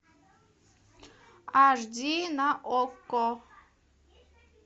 аш ди на окко